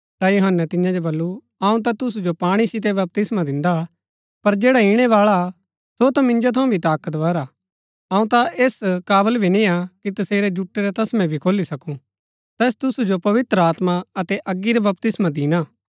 ता यूहन्‍नै तियां जो बल्लू अऊँ ता तुसू जो पाणी सितै बपतिस्मा दिन्दा पर जैडा ईणैबाळा सो ता मिन्जो थऊँ भी ताकतवर हा अऊँ ता ऐस काबल भी नियां कि तसेरै जुटै रै तस्मै भी खोली सकूँ तैस तुसु जो पवित्र आत्मा अतै अगी रा बपतिस्मा दिणा